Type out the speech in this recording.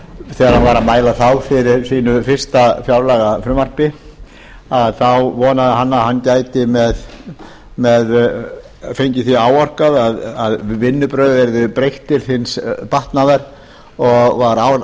þegar hann var að mæla þá fyrir sínu fyrsta fjárlagafrumvarpi þá vonaði hann að hann gæti fengið því áorkað að vinnubrögðum yrði breytt til batnaðar og var